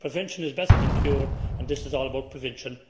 Prevention is better than cure and this is all about prevention.